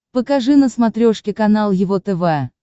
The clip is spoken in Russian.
покажи на смотрешке канал его тв